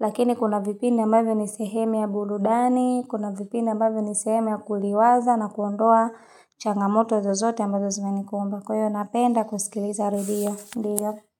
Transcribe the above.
lakini kuna vipindi ambavyo ni sehemu ya burudani, kuna vipindi ambavyo ni sehemu ya kuliwaza na kuondoa changamoto zozote ambazo zimenikumba. Kwa hiyo, napenda kusikiliza radio.